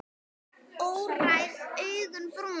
Óræð augun brún.